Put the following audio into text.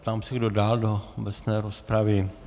Ptám se, kdo dál do obecné rozpravy.